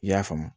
I y'a faamu